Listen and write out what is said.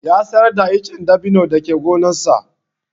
Ya sayar da icen dabino da ke gonarsa.